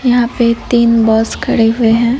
यहां पे तीन बस खडे हुए है।